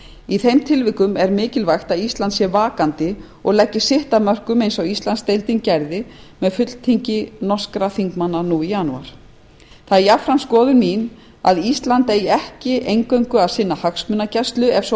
í þeim tilvikum er mikilvægt að ísland sé vakandi og leggi sitt að mörkum eins og íslandsdeildin gerði með fulltingi norskra þingmanna það er jafnframt skoðun mín að ísland eigi ekki eingöngu að sinna hagsmunagæslu ef svo má að